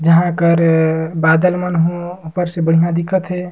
जहां कर बादल मन ह ऊपर से बढ़िया दिखा थे।